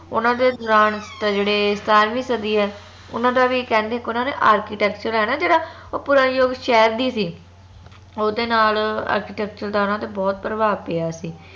ਓਨਾ ਦੇ ਦੌਰਾਨ ਤਾਂ ਜਿਹੜੇ ਸਤਾਰਵੀਂ ਸਦੀ ਏ ਓਨਾ ਦਾ ਵੀ ਕਹਿੰਦੇ ਇਕ ਉੰਨਾ ਨੇ architecture ਆ ਨਾ ਜੇਹੜਾ ਓ ਪੂਰਾ ਯੁਗ ਸ਼ਹਿਰ ਦੀ ਸੀ ਓਦੇ ਨਾਲ architecture ਦਾ ਓਹਨਾ ਤੇ ਬਹੁਤ ਪ੍ਰਭਾਵ ਪਿਆ ਸੀ